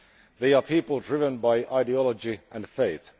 They are people driven by ideology and faith.